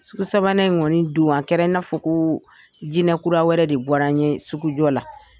Sugu sabanan in kɔniɔni dun an kɛra I n'a fɔ ko jinɛinɛkura wɛrɛ de bɔra n ye sugujɔ la.